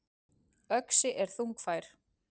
Öxi er þungfær.